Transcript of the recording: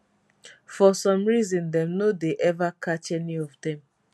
for some reason dem no dey eva catch any of dem